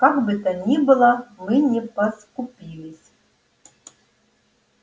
как бы то ни было мы не поскупились